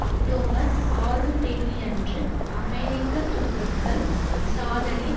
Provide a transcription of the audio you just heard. October ஆறுந்தேதியன்று அமெரிக்க துருப்புக்கள் சாதரின்